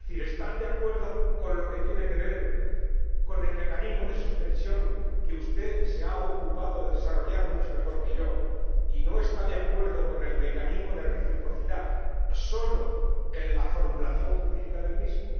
Es decir, ¿está de acuerdo con lo que tiene que ver con el mecanismo de suspensión, que usted se ha ocupado de desarrollar mucho mejor que yo, y no está de acuerdo con el mecanismo de reciprocidad solo en la formulación jurídica del mismo?